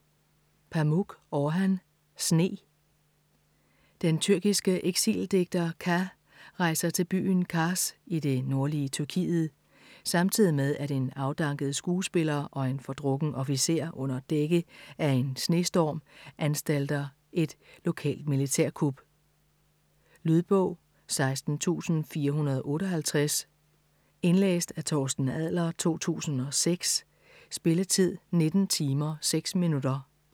Pamuk, Orhan: Sne Den tyrkiske eksildigter Ka rejer til byen Kars i det nordlige Tyrkiet, samtidig med at en afdanket skuespiller og en fordrukken officer under dække af en snestorm anstalter et lokalt militærkup. Lydbog 16458 Indlæst af Torsten Adler, 2006. Spilletid: 19 timer, 6 minutter.